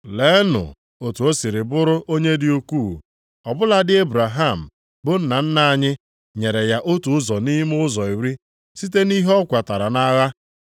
Leenụ otu o siri bụrụ onye dị ukwuu, ọ bụladị Ebraham bụ nna nna anyị nyere ya otu ụzọ nʼime ụzọ iri site nʼihe ọ kwatara nʼagha!